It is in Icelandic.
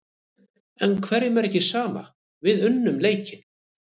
En hverjum er ekki sama, við unnum leikinn.